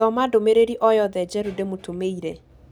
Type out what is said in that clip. Thoma ndũmĩrĩri o yothe njerũ ndĩmũtũmĩire.